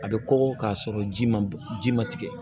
A bɛ kɔgɔ k'a sɔrɔ ji ma bɔ ji ma tigɛ